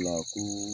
La ko